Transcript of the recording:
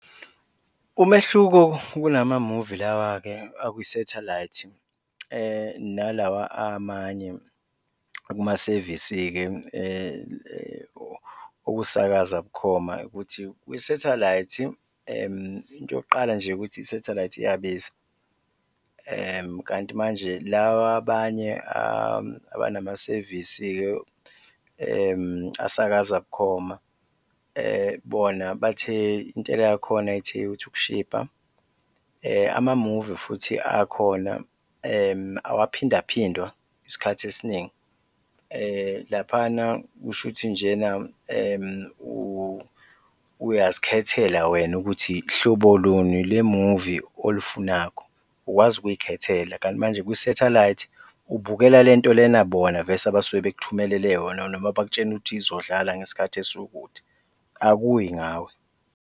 Umehluko kulama-movie lawa-ke akwisathelayithi nalawa amanye kumasevisi-ke okusakaza bukhoma ukuthi kwisathelayithi into yokuqala nje ukuthi isathelayithi iyabiza kanti manje la wabanye abanamasevisi-ke asakaza bukhoma bona intela yakhona ithe ukuthi ukushibha, amamuvi futhi akhona awaphindaphindwa isikhathi esiningi. Laphana kushuthi njena uyazikhethela wena ukuthi hlobo luni le-movie olufunakho, ukwazi ukuy'khethela kanti manje kwisathelayithi ubukela le nto lena bona vese abasuke bekuthumelele yona noma bakutshene ukuthi izodlala ngesikhathi esiwukuthi, akuyi ngawe.